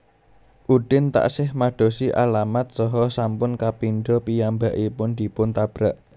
Udin taksih madosi alamat saha sampun kapindha piyambakipun dipun tabrak